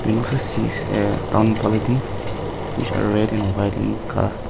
a which are red in white in colour.